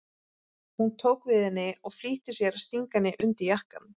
Hún tók við henni og flýtti sér að stinga henni undir jakkann.